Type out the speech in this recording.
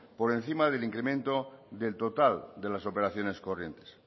por encima del incremento del total de las operaciones corrientes